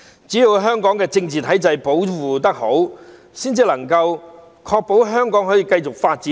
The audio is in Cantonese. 只要香港的政治體制保護得好，才能夠確保香港可以繼續發展。